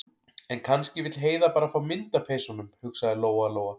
En kannski vill Heiða bara fá mynd af peysunum, hugsaði Lóa- Lóa.